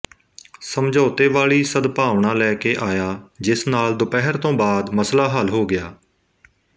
ਸਮਝੋਤੇ ਵਾਲੀ ਸਦਭਾਵਣਾ ਲੈਕੇ ਆਇਆ ਜਿਸ ਨਾਲ ਦੁਪਹਿਰ ਤੋਂ ਬਾਅਦ ਮਸਲਾ ਹੱਲ ਹੋ ਗਿਆ